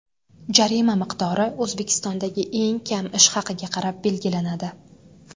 Jarima miqdori O‘zbekistondagi eng kam ish haqiga qarab belgilanadi.